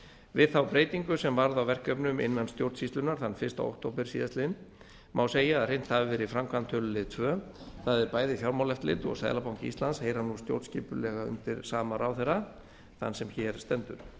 við þá breytingu sem varð á verkefnum innan stjórnsýslunnar þann fyrsta október síðastliðnum má segja að hrint hafi verið í framkvæmd tölulið tvö það er bæði fjármálaeftirlit og seðlabanki íslands heyra nú stjórnskipulega undir sama ráðherra þann sem hér stendur